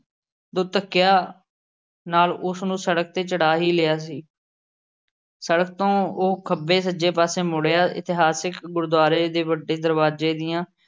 ਦੋ ਧੱਕਿਆਂ ਨਾਲ਼ ਉਸ ਨੂੰ ਸੜਕ ਤੇ ਚੜ੍ਹਾ ਹੀ ਲਿਆ ਸੀ। ਸੜਕ ਤੋਂ ਉਹ ਖੱਬੇ-ਸੱਜੇ ਪਾਸੇ ਮੁੜਿਆ। ਇਤਿਹਾਸਿਕ ਗੁਰਦਵਾਰੇ ਦੇ ਵੱਡੇ ਦਰਵਾਜ਼ੇ ਦੀਆਂ